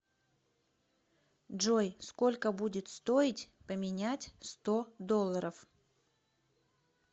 джой сколько будет стоить поменять сто долларов